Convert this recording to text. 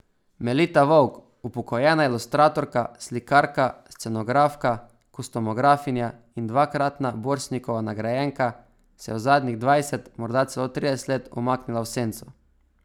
Melita Vovk, upokojena ilustratorka, slikarka, scenografka, kostumografinja in dvakratna Borštnikova nagrajenka, se je zadnjih dvajset, morda celo trideset let umaknila v senco.